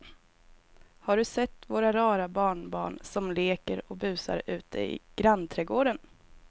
Har du sett våra rara barnbarn som leker och busar ute i grannträdgården!